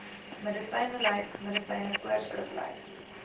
medisynelys medisyne voorskriflys